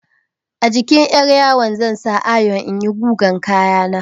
A jikin 'yaryawo zan sa ayon in yi gugan kaya na.